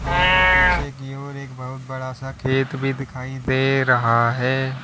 और पीछे की ओर एक बहुत बड़ा सा खेत भी दिखाई दे रहा है।